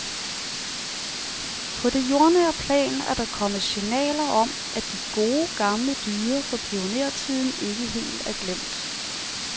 På det jordnære plan er der kommet signaler om, at de gode gamle dyder fra pionertiden ikke helt er glemt.